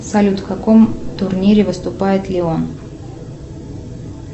салют в каком турнире выступает лион